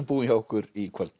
búinn hjá okkur í kvöld